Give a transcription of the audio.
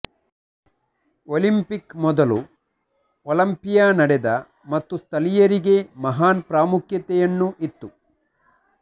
Olympic ಮೊದಲು Olympia ನಡೆದ ಮತ್ತು ಸ್ಥಳೀಯರಿಗೆ ಮಹಾನ್ ಪ್ರಾಮುಖ್ಯತೆಯನ್ನು ಇತ್ತು